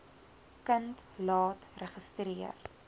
kind laat registreer